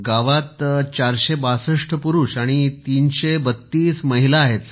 गावात ४६२ पुरुष आणि 33२ महिला आहेत सर